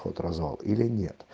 ход-развал или нет